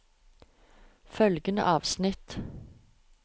Følgende avsnitt